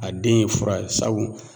A den ye fura ye sabu